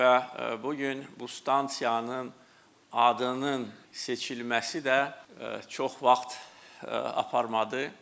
Və bu gün bu stansiyanın adının seçilməsi də çox vaxt aparmadı.